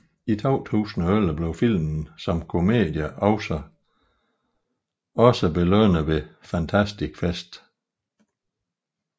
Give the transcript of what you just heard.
I 2011 blev filmen som komedie også belønnet ved Fantastic Fest